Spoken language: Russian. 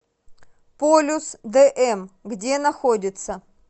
полюс дм где находится